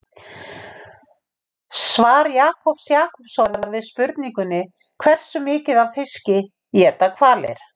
Svar Jakobs Jakobssonar við spurningunni Hversu mikið af fiski éta hvalir?